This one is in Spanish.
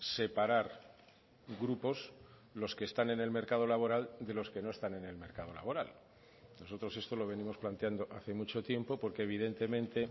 separar grupos los que están en el mercado laboral de los que no están en el mercado laboral nosotros esto lo venimos planteando hace mucho tiempo porque evidentemente